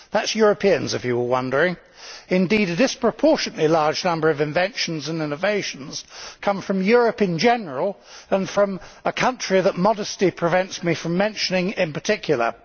That is Europeans, if you were wondering. Indeed, a disproportionately large number of inventions and innovations come from Europe in general, and from a country that modesty prevents me from mentioning in particular.